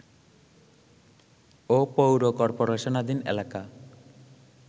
ও পৌর কর্পোরেশনাধীন এলাকা